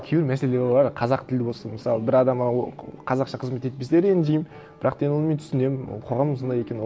кейбір мәселер бор қазақ тілі болсын мысалы бір адам маған қазақша қызмет етпесе ренжимін бірақ деген мен оны түсінемін ол қоғамның сондай екенін